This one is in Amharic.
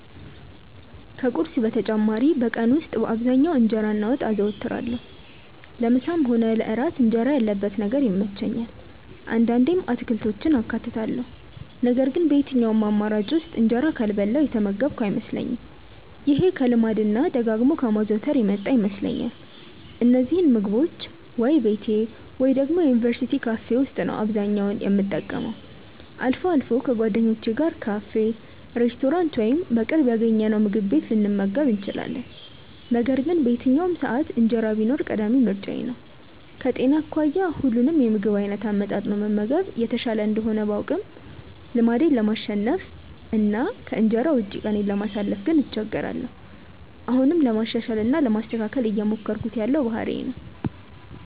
ከቁርስ በተጨማሪ በቀን ውስጥ በአብዛኛው እንጀራ እና ወጥ አዘወትራለሁ። ለምሳም ሆነ ለእራት እንጀራ ያለበት ነገር ይመቸኛል። አንዳንዴም አትክልቶችን አካትታለሁ ነገር ግን በየትኛውም አማራጭ ውስጥ እንጀራ ካልበላሁ የተመገብኩ አይመስለኝም። ይሄ ከልማድ እና ደጋግሞ ከማዘውተር የመጣ ይመስለኛል። እነዚህን ምግቦች ወይ ቤቴ ወይ ደግሞ የዩኒቨርስቲ ካፌ ነው አብዛኛውን የምጠቀመው። አልፎ አልፎ ከጓደኞቼ ጋር ካፌ፣ ሬስቶራንት ወይም በቅርብ ያገኘነውምግብ ቤት ልንመገብ እንችላለን። ነገር ግን በየትኛውም ሰዓት እንጀራ ቢኖር ቀዳሚ ምርጫዬ ነው። ከጤና አኳያ ሁሉንም የምግብ አይነት አመጣጥኖ መመገብ የተሻለ እንደሆነ ባውቅም ልማዴን ለማሸነፍ እና ከእንጀራ ውጪ ቀኔን ለማሳለፍ እቸገራለሁ። አሁንም ለማሻሻል እና ለማስተካከል እየሞከርኩት ያለው ባህሪዬ ነው።